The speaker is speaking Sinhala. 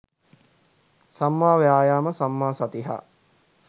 සම්මා වායාම සම්මා සති හා